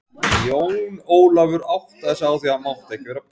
Jón Ólafur áttaði sig á því að hann mátti ekki vera pirraður.